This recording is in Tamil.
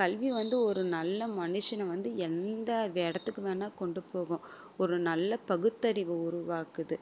கல்வி வந்து ஒரு நல்ல மனுஷனை வந்து எந்த இடத்துக்கு வேணா கொண்டு போகும் ஒரு நல்ல பகுத்தறிவு உருவாக்குது